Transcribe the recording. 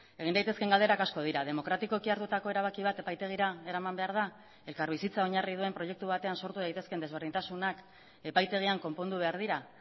egin daitezkeen galderak asko dira demokratikoki hartutako erabaki bat epaitegira eraman behar da elkarbizitza oinarri duen proiektu batean sortu daitezkeen desberdintasunak epaitegian konpondu behar dira